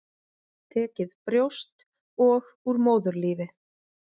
Tekið brjóst og úr móðurlífi.